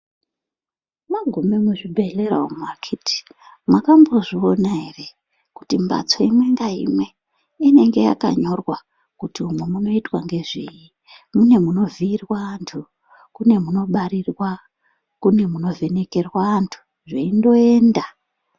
Mwagume muzvibhedhleya umu akhiti ,mwakambozviona ere, kuti mbatso imwe ngaimwe inenge yakanyorwa kuti umwo munoitwa nezvei. Mune munovhiirwa anhu, kune kunobarirwa ,kune kunovhenekerwa antu, zveindoenda.